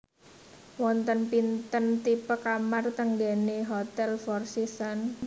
Wonten pinten tipe kamar teng nggene Hotel Four Seasons